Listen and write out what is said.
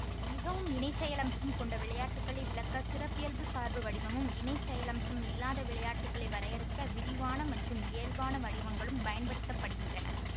மிகவும் இணைசெயலம்சம் கொண்ட விளையாட்டுகளை விளக்க சிறப்பியல்புச் சார்பு வடிவமும் இணைசெயலம்சம் இல்லாத விளையாட்டுகளை வரையறுக்க விரிவான மற்றும் இயல்பான வடிவங்களும் பயன்படுத்த படுகின்றன